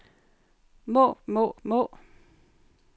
må må må